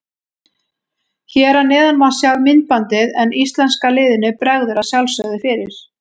Hér að neðan má sjá myndbandið en íslenska liðinu bregður að sjálfsögðu fyrir.